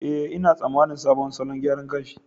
Eh, ina tsammanin sabon salon gyaran gashi.